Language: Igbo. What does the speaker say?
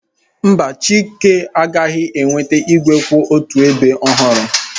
Mba, Chike, ị gaghị enweta igwe kwụ otu ebe ọhụrụ